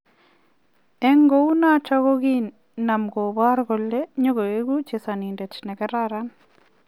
En kuunoton kogiinam kobrogei kole nyogoigu chesonindet ne kararan.